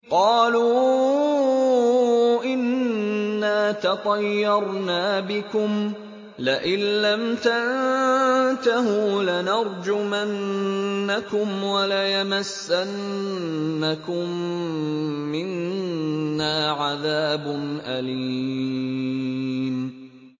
قَالُوا إِنَّا تَطَيَّرْنَا بِكُمْ ۖ لَئِن لَّمْ تَنتَهُوا لَنَرْجُمَنَّكُمْ وَلَيَمَسَّنَّكُم مِّنَّا عَذَابٌ أَلِيمٌ